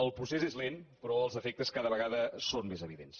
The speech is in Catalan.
el procés és lent però els efectes cada vegada són més evidents